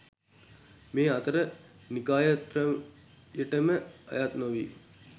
මේ අතර නිකායත්‍රයටම අයත් නොවී